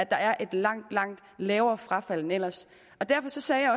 der er et langt langt lavere frafald end ellers og derfor sagde